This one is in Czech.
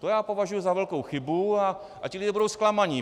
To já považuji za velkou chybu a ti lidé budou zklamaní.